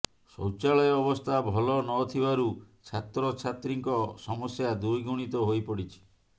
ଶୌଚାଳୟ ଅବସ୍ଥା ଭଲ ନଥିବାରୁ ଛାତ୍ରଛାତ୍ରୀଙ୍କ ସମସ୍ୟା ଦ୍ୱିଗୁଣିତ ହୋଇପଡ଼ିଛି